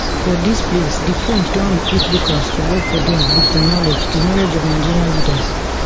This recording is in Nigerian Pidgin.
for dis place di french don recruit locals to work for dem wit di knowledge di knowledge of nigerian leaders